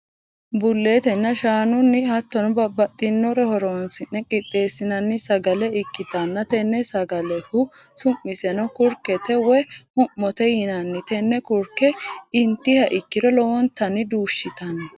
buletenna shaanuni hatonno babaxinnore horonsi'ne qixeesinani sagalle ikitanna tenne sagallehu su'misenno kurikete woyi hu'mote yinanni tenne kurike intiha ikiro lowontanni duushitanno.